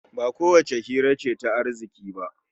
Ba kowace hira ce ta arziki ba